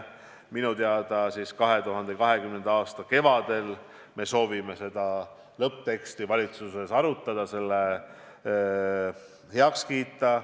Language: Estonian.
Minu teada 2020. aasta kevadel me soovime seda lõppteksti valitsuses arutada, selle heaks kiita.